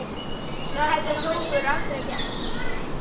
Það hefði Hrólfur aldrei gert.